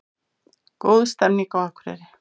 Góð stemning á Akureyri